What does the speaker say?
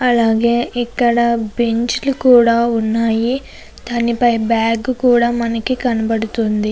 అలాగే ఇక్కడ బెంచ్ లు కూడా ఉన్నాయి. దాని పై బ్యాగ్ కూడా మనకి కనబడుతుంది.